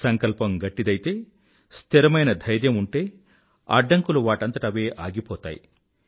సంకల్పం గట్టిదైతే స్థిరమైన ధైర్యం ఉంటే అడ్డంకులు వాటంతట అవే అగిపోతాయి